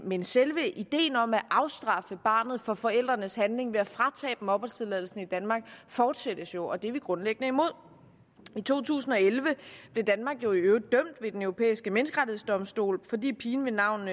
men selve ideen om at straffe barnet for forældrenes handling ved at fratage opholdstilladelsen i danmark fortsættes jo og det er vi grundlæggende imod i to tusind og elleve blev danmark jo i øvrigt dømt ved den europæiske menneskerettighedsdomstol fordi pigen ved navn